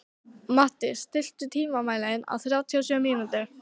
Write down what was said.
Matti, stilltu tímamælinn á þrjátíu og sjö mínútur.